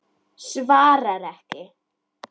Svarar ekki.